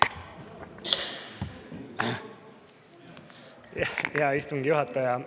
Hea istungi juhataja!